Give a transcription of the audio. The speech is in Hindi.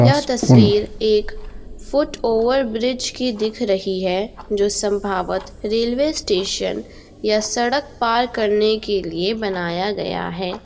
यह तस्वीर एक फ़ुट ओवरब्रिज की दिख रही है जो संभावत रेलवे स्टेशन या सड़क पार करने के लिए बनाया गया है।